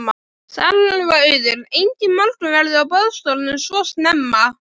Salurinn var auður, enginn morgunverður á boðstólum svo snemma.